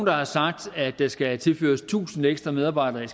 har sagt at der skal tilføres tusind ekstra medarbejdere i